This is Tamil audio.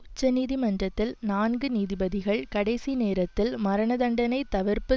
உச்ச நீதிமன்றத்தில் நான்கு நீதிபதிகள் கடைசி நேரத்தில் மரணதண்டனைத் தவிர்ப்பு